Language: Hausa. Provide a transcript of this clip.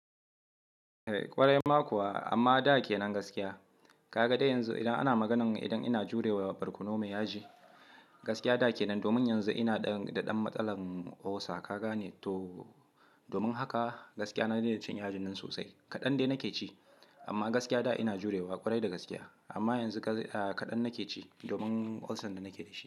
Kwarai ma kuwa amma da ke nan gaskiya. Kaga dai yanzu idan ana maganan idan ina jurewa barkono mai yaji, gaskiya da kenan domin yanzu ina da ɗan matsalan ulcer, ka gane to. Domin haka gaskiya na daina cin yajin nan sosai. Kaɗan dai nake ci amma gaskiya da ina jurewa, ƙwarai da gaskiya. Amma yanzu kaɗan nake ci domin ulcer da nake da shi.